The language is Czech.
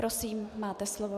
Prosím, máte slovo.